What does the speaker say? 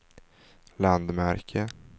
landmärke